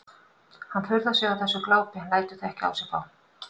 Hann furðar sig á þessu glápi en lætur það ekki á sig fá.